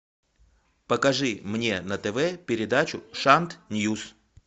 покажи мне на тв передачу шант ньюс